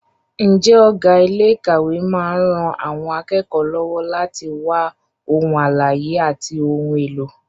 Ǹjẹ́ ọ̀gá ilé ìkàwé máa ń ran àwọn akẹ́kọ̀ọ́ lọ́wọ́ láti wá ohun àlàyé àti ohun èlò?